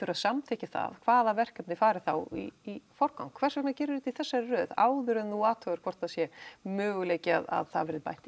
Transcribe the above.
að samþykkja það hvaða verkefni fari þá í forgang hvers vegna gerirðu þetta í þessari röð áður en þú athugar hvort það sé möguleiki að það verði bætt